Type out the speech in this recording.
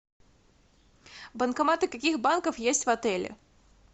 банкоматы каких банков есть в отеле